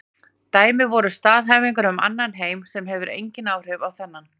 Dæmi væru staðhæfingar um annan heim sem hefur engin áhrif á þennan.